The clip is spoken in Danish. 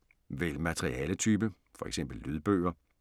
Vælg materialetype: F.eks. lydbøger